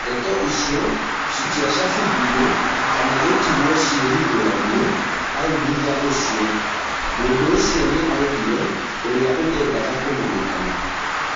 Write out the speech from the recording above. Ndeto icio citiacabithirĩo kana gũtigwo cihĩthũranie hau thutha ũcio". Mũndũũcio nĩ augire ũrĩa ũtendaga kũmenyekana.